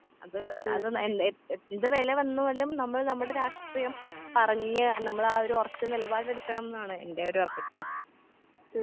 അത് അത് എന്ത് എന്ത് നെല വന്നാലും നമ്മൾ നമ്മടെ രാഷ്ട്രീയം പറഞ്ഞ് നമ്മളാ ഒരു ഒറച്ച നെലപാടെടുക്കണംന്നാണ് എന്റോരഭിപ്രായം.